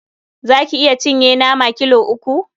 Za ki iya cinye nama kilo uku?